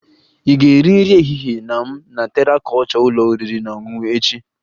Ị ga-eri nri ehihie na m na Terra kulture ụlọ oriri na ọṅụṅụ echi?